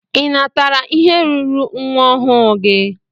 Ị natara ihe ruuru nwa ọhụụ gị?